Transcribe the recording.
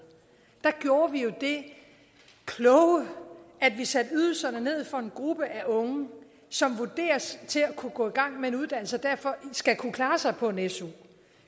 der gjorde vi jo det kloge at vi satte ydelserne ned for den gruppe af unge som vurderes at kunne gå i gang med en uddannelse og derfor skal kunne klare sig på en su